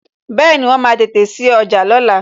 Bẹẹni, wọn máa tètè sí ọjà lóla